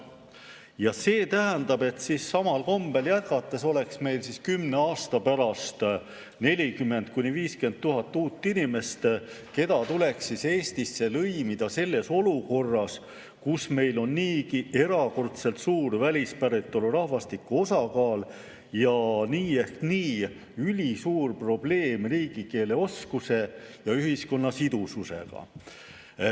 Ja see tähendab, et samal kombel jätkates oleks meil kümne aasta pärast 40 000 – 50 000 uut inimest, keda tuleks Eestisse lõimida olukorras, kus meil on niigi erakordselt suur välispäritolu rahvastiku osakaal ja nii ehk nii ülisuur probleem riigikeeleoskuse ja ühiskonna sidususega.